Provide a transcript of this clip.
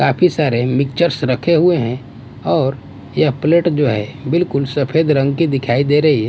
काफी सारे मिक्सचर्स रखे हुए हैं और यह प्लेट जो है बिल्कुल सफेद रंग की दिखाई दे रही--